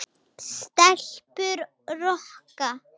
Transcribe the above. Stelpur rokka!